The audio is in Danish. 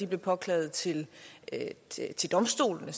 blive påklaget til til domstolene